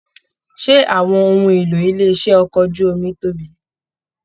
Ṣé àwọn ohùn ìlò ilé iṣẹ okọ̀ ojú omi tóbi?